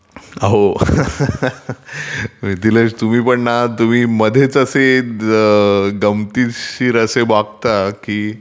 अहो..laugting मिथिलेश तुम्ही पण ना तुम्ही मध्येच असे गंमतीशीर असे वागता की